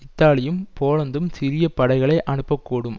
இத்தாலியும் போலந்தும் சிறிய படைகளை அனுப்பக்கூடும்